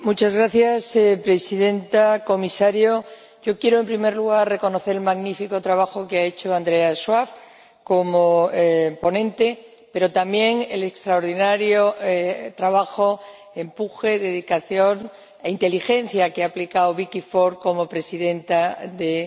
Señora Presidenta, Comisario, yo quiero, en primer lugar, reconocer el magnífico trabajo que ha hecho Andreas Schwab como ponente, pero también el extraordinario trabajo, empuje, dedicación e inteligencia que ha aplicado Vicky Ford como presidenta de